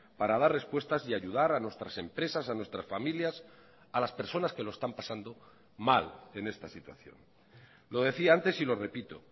para dar respuestas y ayudar a nuestras empresas a nuestras familias a las personas que lo están pasando mal en esta situación lo decía antes y lo repito